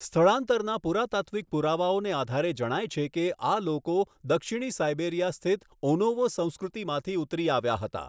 સ્થળાંતરના પુરાતાત્વિક પુરાવાઓને આધારે જણાય છે કે આ લોકો દક્ષિણી સાઈબેરિયા સ્થિત ઓનોવો સંસ્કૃતિમાંથી ઉતરી આવ્યા હતા.